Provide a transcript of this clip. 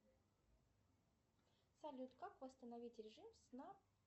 салют как восстановить режим сна